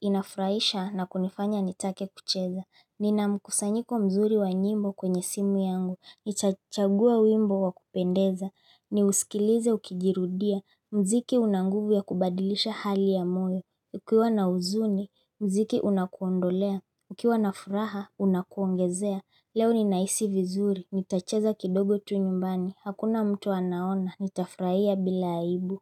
inafurahisha na kunifanya nitake kucheza Nina mkusanyiko mzuri wa nyimbo kwenye simu yangu, nitachagua wimbo wa kupendeza, niusikilize ukijirudia, mziki una nguvu ya kubadilisha hali ya moyo inafurahisha na kunifanya nitake kucheza Nina mkusanyiko mzuri wa nyimbo kwenye simu yangu, nitachagua wimbo wa kupendeza, ni usikilize ukijirudia, mziki una nguvu kubadilisha hali ya mtu.